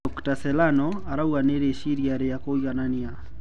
Dr Serrano arauga ni riciria ria kuiganania.